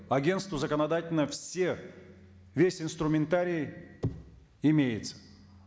агенству законодательно весь инструментарий имеется